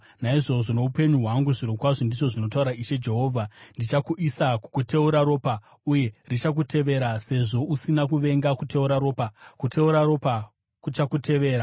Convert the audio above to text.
naizvozvo, noupenyu hwangu zvirokwazvo, ndizvo zvinotaura Ishe Jehovha, ndichakuisa kukuteura ropa uye richakuteverera. Sezvo usina kuvenga kuteura ropa, kuteura ropa kuchakuteverera.